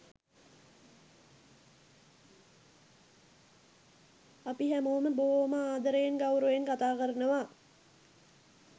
අපි හැමෝම බොහෝම ආදරයෙන් ගෞරවයෙන් කථාකරනවා.